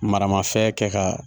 Maramafɛn kɛ ka